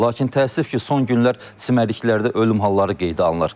Lakin təəssüf ki, son günlər çimərliklərdə ölüm halları qeydə alınır.